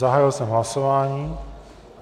Zahájil jsem hlasování.